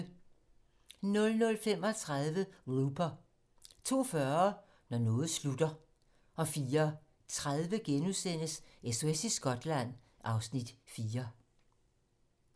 00:35: Looper 02:40: Når noget slutter 04:30: SOS i Skotland (Afs. 4)*